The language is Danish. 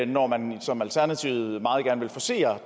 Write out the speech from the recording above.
når man som alternativet meget gerne vil forcere